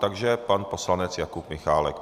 Takže pan poslanec Jakub Michálek.